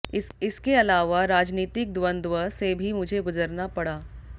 इसके अलावा राजनीतिक द्वंद्व से भी मुझे गुजरना पड़ा